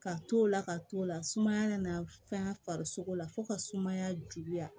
Ka t'o la ka t'o la sumaya nana fɛn farisogo la fo ka sumaya juguya